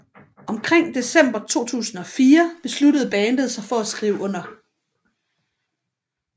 Omkring december 2004 besluttede bandet sig for at skrive under